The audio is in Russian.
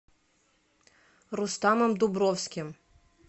рустамом дубровским